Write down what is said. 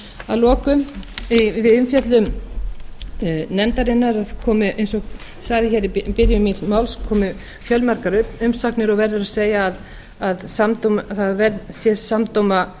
að lokum við umfjöllun nefndarinnar eins og sagði hér í byrjun míns máls komu fjölmargar umsagnir og verður að segja að það sé samdóma